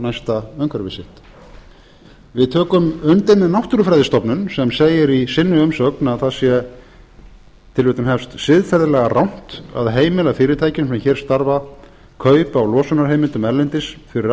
næsta umhverfi sitt við tökum undir með náttúrufræðistofnun sem segir í umsögn sinni að það sé siðferðilega rangt að heimila fyrirtækjum sem hér starfa kaup á losunarheimildum erlendis fyrir